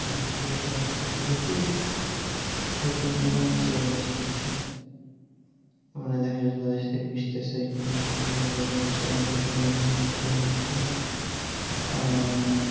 লোক জন সাথে সাথে প্রচুর পরিমানে change আসতেছে দেখা যাইতেছে যে তাদের সাথে মিসতেচে আহ